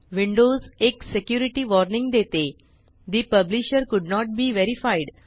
windows एक security warning देते ठे publisher could not be verified